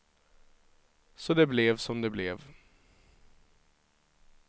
Så det blev som det blev.